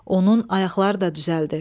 Onun ayaqları da düzəldi.